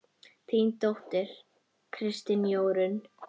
Þín dóttir, Kristín Jórunn.